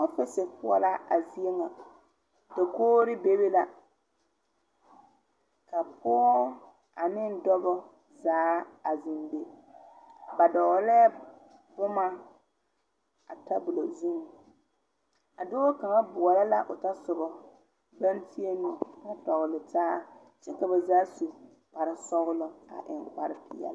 Ɔfisi poɔ la a zie ŋa dakogre bebe la ka pɔɔ aneŋ dɔbɔ zaa a zeŋ be ba dɔɔlɛɛ bomma a tabolɔ zuŋ a dɔɔ kaŋa boɔlɔ la o tasoba naŋ tēɛ nu a tɔgle taa ka ba zaa su kparesɔglɔ a eŋ kparepeɛli.